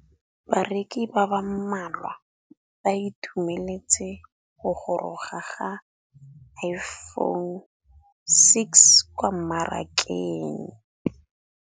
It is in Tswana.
Bareki ba ba malwa ba ituemeletse go gôrôga ga Iphone6 kwa mmarakeng.